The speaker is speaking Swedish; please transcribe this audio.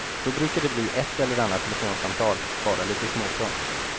Då brukar det bli ett eller annat telefonsamtal, bara lite småprat.